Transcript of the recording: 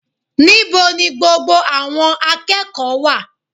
Níbo ni gbogbo àwọn akẹ́kọ̀ọ́ wà